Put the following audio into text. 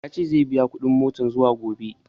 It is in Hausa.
Ya ce zai biya kuɗin motan zuwa gombe